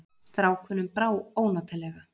Strákunum brá ónotalega.